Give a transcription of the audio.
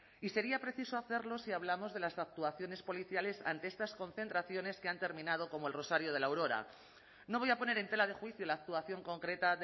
y sería preciso hacerlo si hablamos de las actuaciones policiales ante estas concentraciones que han terminado como el rosario de la aurora no voy a poner en tela de juicio la actuación concreta